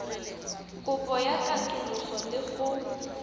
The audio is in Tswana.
kopo ya katoloso le go